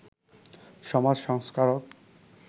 সমাজ সংস্কারক